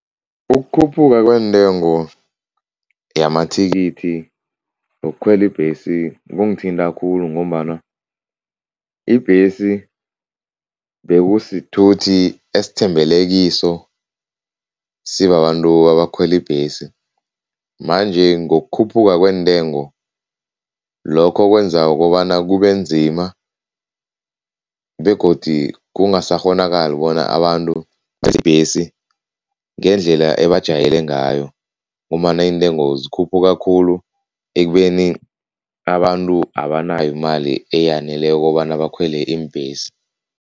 Ukukhuphuka kweentengo yamathikithi wokukhwela ibhesi kungithinta khulu ngombana ibhesi bekusithuthi esithembele kiso sibabantu abakhwela ibhesi. Manje ngokukhuphuka kweentengo, lokho kwenza kobana kubenzima begodi kungasakghonekali bona abantu ibhesi ngendlela ebajwayele ngayo ngombana iintengo zikhuphuka khulu ekubeni abantu abanayo imali eyaneleko kobana bakhwele iimbhesi.